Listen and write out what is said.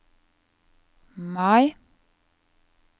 Mai